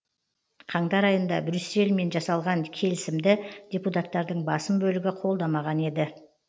қаңтар айында брюссельмен жасалған келісімді депутаттардың басым бөлігі қолдамаған еді